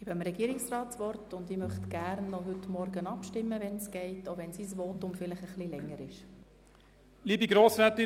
Ich erteile dem Regierungsrat das Wort, und ich möchte – falls möglich – gerne noch heute Morgen abstimmen, auch wenn sein Votum vielleicht etwas länger dauert.